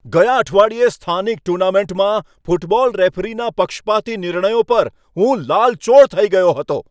ગયા અઠવાડિયે સ્થાનિક ટુર્નામેન્ટમાં ફૂટબોલ રેફરીના પક્ષપાતી નિર્ણયો પર હું લાલચોળ થઈ ગયો હતો.